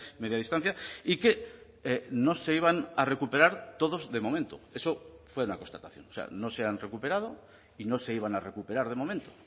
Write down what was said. media distancia y que no se iban a recuperar todos de momento eso fue una constatación o sea no se han recuperado y no se iban a recuperar de momento